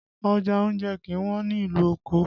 Ọjà oúnjẹ kì í wọ́n ní ìlú Òkò